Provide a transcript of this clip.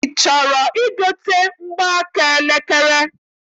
I chọrọ igote mgbaaka elekere?